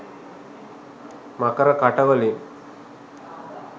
මකර කට වලින්